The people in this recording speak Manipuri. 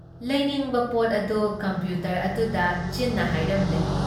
ꯂꯩꯅꯤꯡꯕ ꯄꯣꯠ ꯑꯗꯨ ꯀꯝꯄ꯭ꯌꯨꯇꯔ ꯑꯗꯨꯗ ꯆꯤꯟꯅ ꯍꯥꯏꯔꯝꯂꯦ ꯫